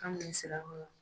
An bɛ Sirakɔrɔ.